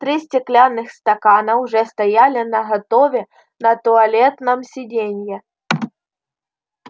три стеклянных стакана уже стояли наготове на туалетном сиденье